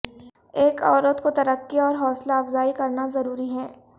ایک عورت کو ترقی اور حوصلہ افزائی کرنا ضروری ہے